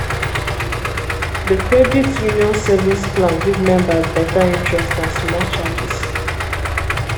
the credit union savings plan give members better interest and small charges.